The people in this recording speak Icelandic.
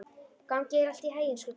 Gangi þér allt í haginn, Skugga.